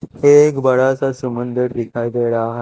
एक बड़ा सा समुंदर दिखाई दे रहा--